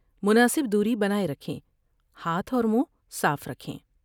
مناسب دوری بناۓ رکھیں ہاتھ اور منھ صاف رکھیں ۔